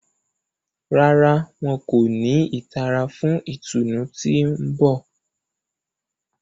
Ràrá, wọn ko ni ìtara fún ìtùnú tí n bọ